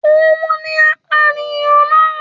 Òun ni apànìyàn náà